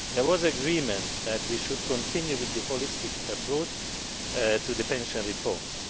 There was agreement that we should continue with the holistic approach to the pension reforms.